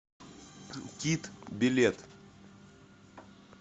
кит билет